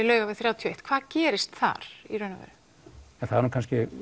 Laugavegi þrjátíu og eitt hvað gerist þar það eru nú